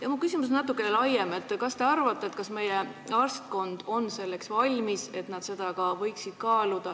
Aga mu küsimus on natukene laiem: kas teie arvates meie arstkond on valmis seda kaaluma?